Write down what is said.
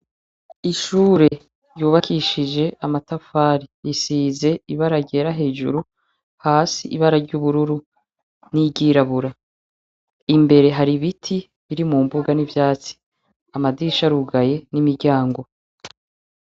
Ishure ryubakishij' amatafari, risiz' ibara ryera hejuru has' ibara ry'ubururu n' iryirabura, imbere har' ibiti birimumbuga n' ivyatsi, amadirish' arugaye n' imiryango.